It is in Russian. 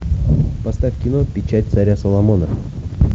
поставь кино печать царя соломона